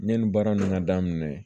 Yanni baara ninnu ka daminɛ